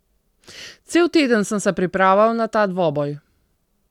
Cel teden sem se pripravljal na ta dvoboj.